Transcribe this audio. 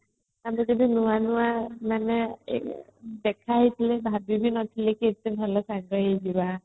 କାଲି ଯେବେ ନୂଆ ନୂଆ ମାନେ ଦେଖା ହେଇଥିଲେ ଭାବି ବି ନଥିଲି ଏତେ ଭଲ ସାଙ୍ଗ ହେଇଯିବା